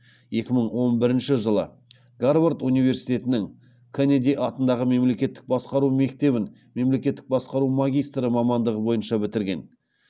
екі мың он бірінші жылы гарвард университетінің кеннеди атындағы мемлекеттік басқару мектебін мемлекеттік басқару магистрі мамандығы бойынша бітірген